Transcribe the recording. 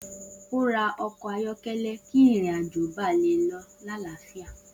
O ra ọkọ ayọkẹlẹ ki ìrìn àjò ba le lọ l'alafia